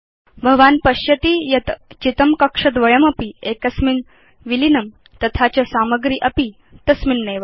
भवान् पश्यति यत् चितं कक्षद्वयमपि एकस्मिन् विलीनं तथा च सामग्री अपि तस्मिन्नेव